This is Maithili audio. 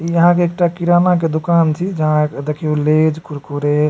इ अहाँ के एकटा किराना के दुकान छी जहां देखियो लैज कुरकुरे --